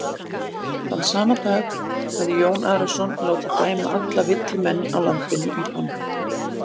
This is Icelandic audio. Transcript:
Þann sama dag hafði Jón Arason látið dæma alla villumenn á landinu í bann.